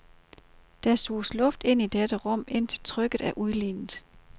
Der suges luft ind i dette rum, indtil trykket er udlignet.